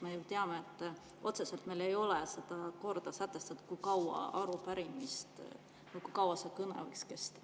Me ju teame, et otseselt ei ole seda korda sätestatud, kui kaua arupärimist kõne võiks kesta.